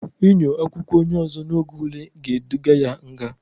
Inyo akwụkwọ onye ụzọ n'oge ule ga-eduga ya nga.